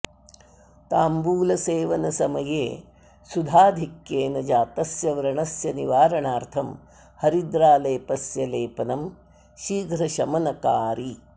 ताम्बूलसेवनसमये सुधाधिक्येन जातस्य व्रणस्य निवारणार्थं हरिद्रालेपस्य लेपनं शीघ्रशमनकारि